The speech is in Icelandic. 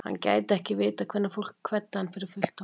Hann gæti ekki vitað hvenær fólk kveddi hann fyrir fullt og allt.